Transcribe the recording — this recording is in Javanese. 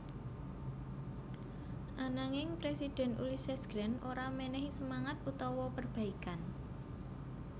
Ananging Presidhèn Ulysses Grant ora menehi semangat utawa perbaikan